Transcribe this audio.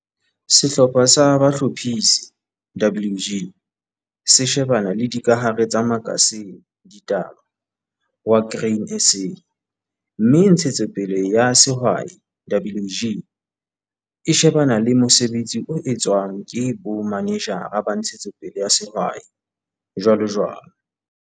Sehlopha sa Bohlophisi, WG, se shebana le dikahare tsa makasine, ditaba, wa Grain SA, mme Ntshetsopele ya Sehwai, WG, e shebana le mosebetsi o etswang ke bomanejara ba Ntshetsopele ya Sehwai, jwalojwalo.